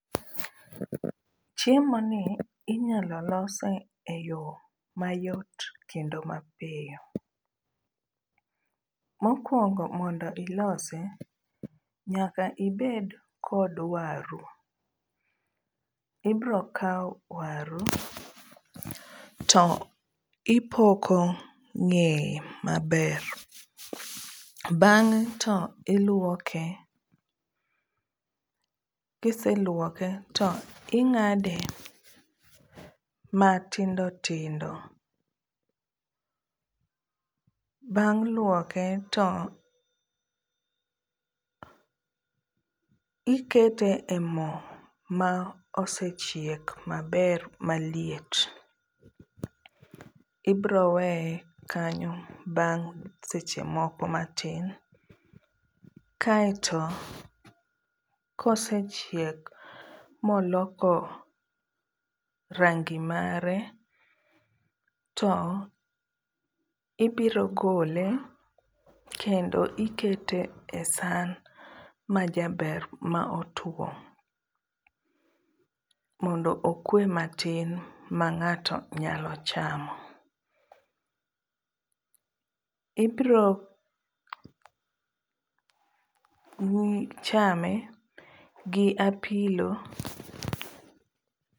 Chiemoni inyalo lose e yo mayot kendo mapiyo, mokuongo mondo ilose nyaka ibed kod waru, ibrokawo waru to ipoko ng'eye maber, bang'e to iluoke, kiseluoke to ing'ade matindo tindo, bang' luoke to ikete e mo ma osechiek maber maliet, ibroweye kanyo bang' seche moko matin, kaeto kosechiek moloko rangi mare to ibiro gole kendo ikete e san majaber ma otwo mondo okwe matin mang'ato nyalo chamo, ibro chame gi apilo